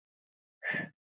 Viltu kannski játa núna?